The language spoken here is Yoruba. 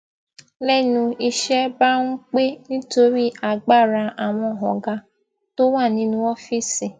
lénu iṣé bá ń pé nítorí agbára àwọn ọgá tó wà nínú ọfíìsì